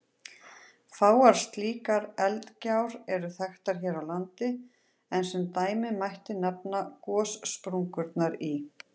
Fáar slíkar eldgjár eru þekktar hér á landi, en sem dæmi mætti nefna gossprungurnar í